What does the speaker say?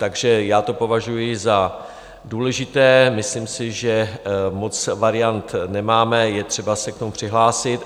Takže já to považuji za důležité, myslím si, že moc variant nemáme, je třeba se k tomu přihlásit.